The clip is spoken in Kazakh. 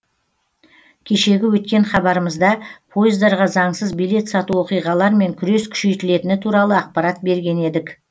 кешегі өткен хабарымызда пойыздарға заңсыз билет сату оқиғалармен күрес күшейтілетіні туралы ақпарат берген едік